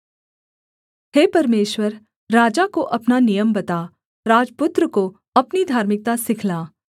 हे परमेश्वर राजा को अपना नियम बता राजपुत्र को अपनी धार्मिकता सिखला